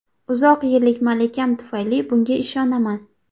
Uzoq yillik malakam tufayli bunga ishonaman.